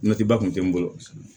ba kun tɛ n bolo